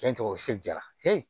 Cɛn tɔgɔ se diyara